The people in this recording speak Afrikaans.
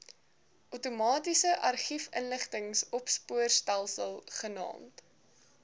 outomatiese argiefinligtingsopspoorstelsel genaamd